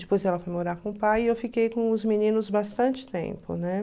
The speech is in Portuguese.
Depois ela foi morar com o pai e eu fiquei com os meninos bastante tempo, né?